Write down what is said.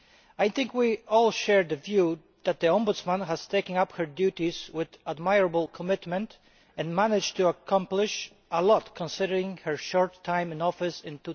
I think we all share the view that the Ombudsman has taken up her duties with admirable commitment and has managed to accomplish a lot, considering her short time in office in